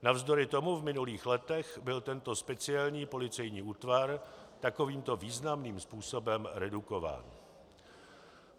Navzdory tomu v minulých letech byl tento speciální policejní útvar takovýmto významným způsobem redukován.